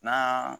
N'an